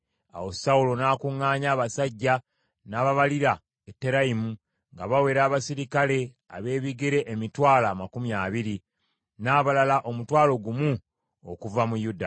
Awo Sawulo n’akuŋŋaanya abasajja, n’ababalira e Terayimu, nga bawera abaserikale ab’ebigere emitwalo amakumi abiri, n’abalala omutwalo gumu okuva mu Yuda.